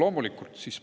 Loomulikult!